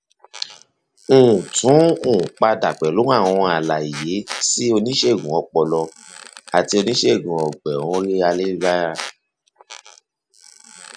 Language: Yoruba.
um tún um padà pẹlú àwọn àlàyé sí oníṣègùn ọpọlọ àti oníṣègùn ọgbẹ um orí ayélujára